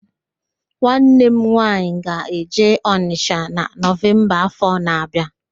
Nwanne m nwaanyị ga-eje Ọnịsha na Nọvemba áfọ̀ na-abịa